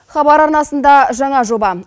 хабар арнасында жаңа жоба